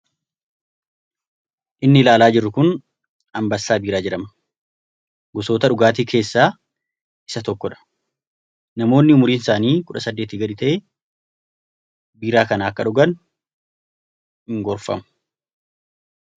Inni ilaalaa jirru kun Ambessaa Biiraa jedhama. Gosoota dhugaatii keessaa isa tokkodha. Namoonni umuriin isaanii kudha saddeetii gadi ta'e, biiraa kana akka dhugan hin gorfamu.